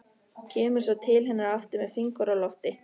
Kemur svo til hennar aftur með fingur á lofti.